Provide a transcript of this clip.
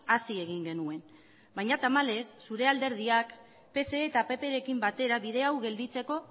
hasi egin genuen baina tamalez zure alderdiak pse eta pprekin batera bide hau gelditzeko